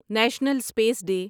national space day